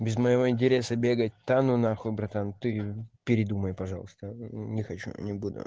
без моего интереса бегать да ну нахуй братан ты передумай пожалуйста не хочу не буду